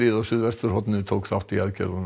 á suðvesturhorninu tók þátt í aðgerðunum